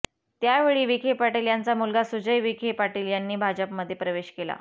त्यावेळी विखे पाटील यांचा मुलगा सुजय विखे पाटील यांनी भाजपमध्ये प्रवेश केला